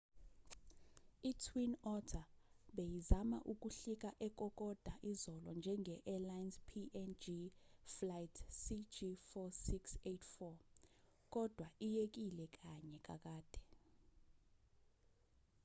itwin otter beyizama ukuhlika ekokoda izolo njenge-arlines png flight cg4684 kodwa iyekile kanye kakade